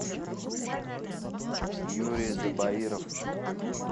юрий забаиров